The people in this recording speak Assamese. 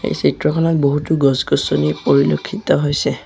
এই চিত্ৰখনত বহুতো গছ-গছনি পৰিলক্ষিত হৈছে।